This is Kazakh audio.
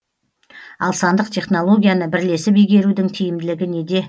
ал сандық технологияны бірлесіп игерудің тиімділігі неде